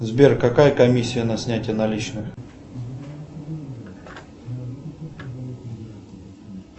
сбер какая комиссия на снятие наличных